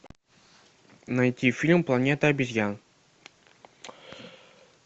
найти фильм планета обезьян